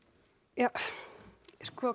ja sko